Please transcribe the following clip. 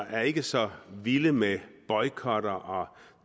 er ikke så vilde med boykotter og